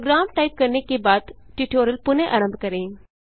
programme type करने के बाद ट्यूटोरियल पुनः आरंभ करें